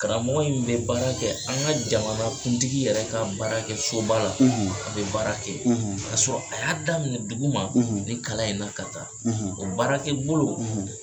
Karamɔgɔ in bɛ baara kɛ an ka jamana kuntigi yɛrɛ ka baara kɛ so ba la a bɛ baara kɛ ye ka sɔrɔ a y'a daminɛ dugu ma nin kalan in na ka taa o baarakɛ bolo